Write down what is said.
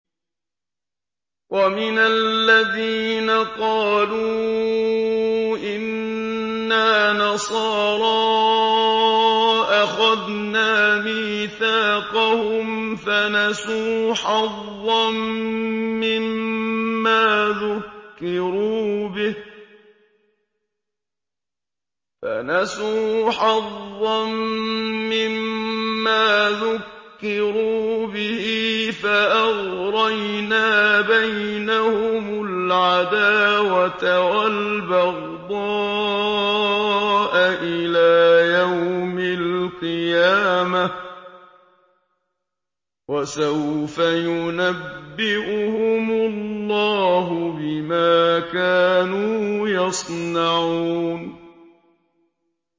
وَمِنَ الَّذِينَ قَالُوا إِنَّا نَصَارَىٰ أَخَذْنَا مِيثَاقَهُمْ فَنَسُوا حَظًّا مِّمَّا ذُكِّرُوا بِهِ فَأَغْرَيْنَا بَيْنَهُمُ الْعَدَاوَةَ وَالْبَغْضَاءَ إِلَىٰ يَوْمِ الْقِيَامَةِ ۚ وَسَوْفَ يُنَبِّئُهُمُ اللَّهُ بِمَا كَانُوا يَصْنَعُونَ